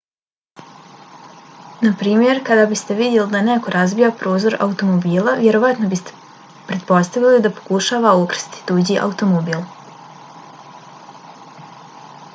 naprimjer kada biste vidjeli da neko razbija prozor automobila vjerojatno biste pretpostavili da pokušava ukrasti tuđi automobil